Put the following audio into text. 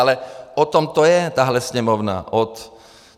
Ale o tom to je, tahle Sněmovna.